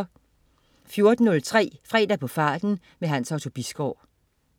14.03 Fredag på farten. Hans Otto Bisgaard